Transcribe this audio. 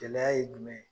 Gɛlɛya ye jumɛn ye